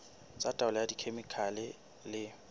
tsa taolo ka dikhemikhale le